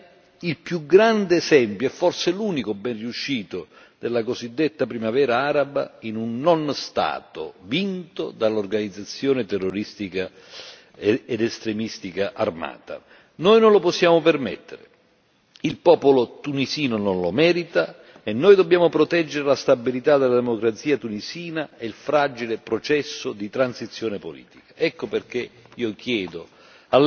tentano di convertire a Tunisia, il più grande esempio, forse l'unico ben riuscito, della cosiddetta Primavera araba, in un non Stato, vinto dall'organizzazione terroristica ed estremistica armata. Noi non lo possiamo permettere. Il popolo tunisino non lo merita e noi dobbiamo proteggere la stabilità, la democrazia tunisina e il fragile processo di transizione politica.